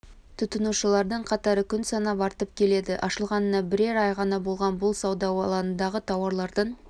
тұтынушылардың қатары күн санап артып келеді ашылғанына бірер ай ғана болған бұл сауда алаңындағы тауарлардың